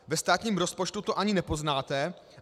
Ve státním rozpočtu to ani nepoznáte.